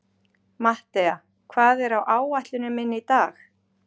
Mattea, hvað er á áætluninni minni í dag?